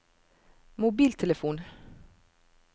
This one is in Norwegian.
mobiltelefon